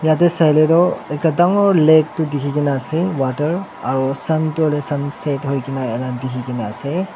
ethe sai leh toh ekta dangor lake tuh dekhikena ase water aro sun tuh hoile sunset hoikena ena dekhikena ase.